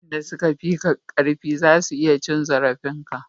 wayanda su ka fi ka karfi za su iya cin zarafin ka